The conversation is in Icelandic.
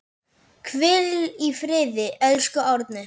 Hvíl í friði, elsku Árni.